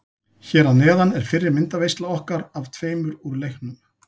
Hér að neðan er fyrri myndaveisla okkar af tveimur úr leiknum.